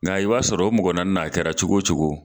Nka i b'a sɔrɔ o naani mɔgɔ na a kɛra cogo o cogo